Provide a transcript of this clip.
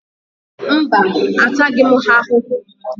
Mba, a taghị ha ahụhụ.